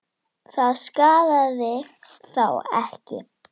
Það skaðaði þá ekki.